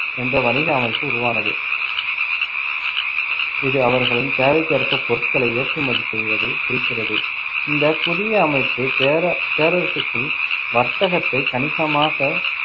என்ற வணிக அமைப்பு உருவானது, இது அவர்களின் தேவைக்கேற்ப பொருட்களை ஏற்றுமதி செய்வதைக் குறிக்கிறது. இந்த புதிய அமைப்பு பேர~ பேரரசுக்குள் வர்த்தகத்தை கணிசமாக